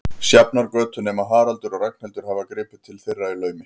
Sjafnargötu, nema Haraldur og Ragnhildur hafi gripið til þeirra í laumi.